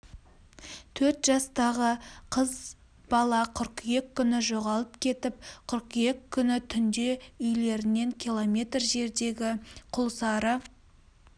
төрт жастағы қыз бала қыркүйек күні жоғалып кетіп қыркүйек күні түнде үйлерінен километр жердегі құлсары